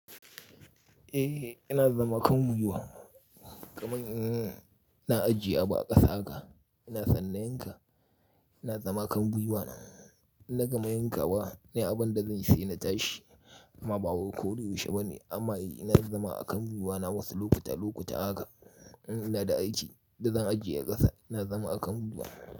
Eh ina zama kan gwiwa, kamar in na ajiye abu a ƙasa haka ina sanne na yanka ina zama kan gwiwa na. Na gama yanka wa ne abin da zan say na tashi amma bawai koda yaushe ba ne amma ina zama akan gwiwa na wasu lokuta lokuta haka. In ina da aiki da zan ajiye ƙasa ina zama akan gwiwa.